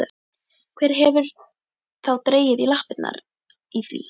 Hver hefur þá dregið lappirnar í því?